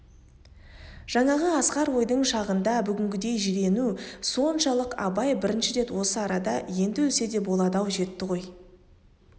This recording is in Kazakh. жаңағы асқар ойдың шағында бүгінгіден жирену соншалық абай бірінші рет осы арада енді өлсе де болады-ау жетті ғой